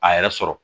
A yɛrɛ sɔrɔ